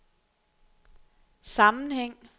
sammenhæng